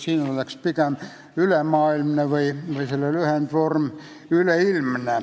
Siin oleks parem pigem "ülemaailmne" või selle lühendvorm "üleilmne".